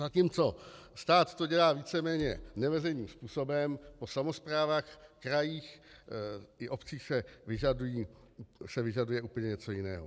Zatímco stát to dělá víceméně neveřejným způsobem, po samosprávách, krajích i obcích se vyžaduje úplně něco jiného.